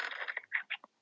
Hún er strokin að heiman.